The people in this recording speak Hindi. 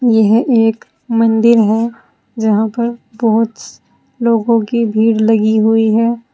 यह एक मंदिर है जहां पर बहोत लोगों की भीड़ लगी हुई है।